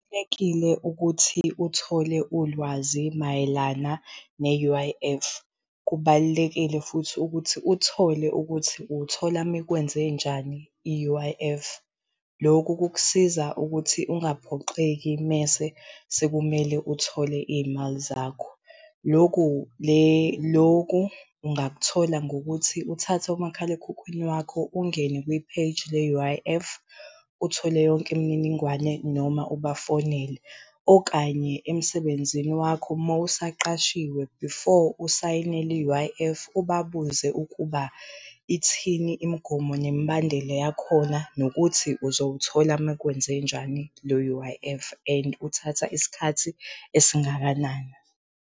Kubalulekile ukuthi uthole ulwazi mayelana ne-U_I_F. Kubalulekile futhi ukuthi uthole ukuthi uyithola makwenzenjani i-U_I_F. Loku kukusiza ukuthi ungaphoxeki mese sekumele uthole iy'mali zakho. Loku loku ungakuthola ngokuthi uthathe umakhalekhukhwini wakho ungene kwipheji le-U_I_F uthole yonke imininingwane noma ubafonele. Okanye emsebenzini wakho mowusaqashiwe before usayinele i-U_I_F ubabuze ukuba ithini imigomo nemibandela yakhona, nokuthi uzowuthola makwenzenjani lo-U_I_F and uthatha isikhathi esingakanani.